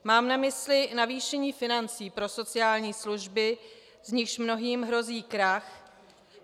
Mám na mysli navýšení financí pro sociální služby, z nichž mnohým hrozí krach.